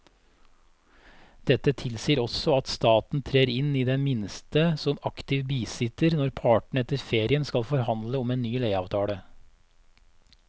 Dette tilsier også at staten trer inn i det minste som aktiv bisitter når partene etter ferien skal forhandle om en ny leieavtale.